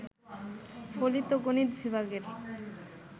ফলিত গণিত বিভাগের